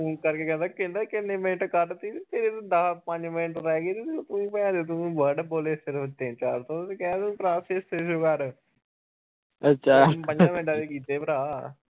ਮੈਨੂੰ ਫੋਨ ਕਰਕੇ ਕਹਿੰਦਾ ਕਿੰਨੇ ਮਿੰਟ ਕਢਤੇ ਈ ਤੇਰੇ ਤਾ ਦੱਸ ਪੰਜ ਮਿੰਟ ਰਹਿਗੇ ਤੇ ਤੂੰ ਭੇਨਚੋਦ ਤੂੰ word ਬੋਲੇ ਸਿਰਫ ਤਿੰਨ ਚਾਰ ਸੌ ਕਹਿਦੇ ਭਰਾ ਛੇ ਸੌ ਕਰ ਪੰਜਾ ਮਿੰਟਾ ਚ ਕੀਤੇ ਭਰਾ।